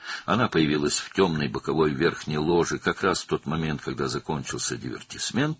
O, qaranlıq yan yuxarı lojada, elə divertisment qurtardığı anda göründü.